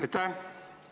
Aitäh!